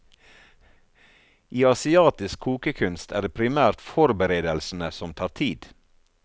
I asiatisk kokekunst er det primært forberedelsene som tar tid.